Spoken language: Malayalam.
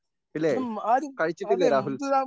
ഇല്ലേ കഴിച്ചിട്ടില്ലേ രാഹുൽ?